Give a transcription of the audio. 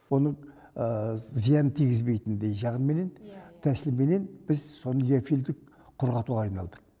оның зиянын тигізбейтіндей жағыменен тәсілменен біз соны диофильдік құрғатуға айналдық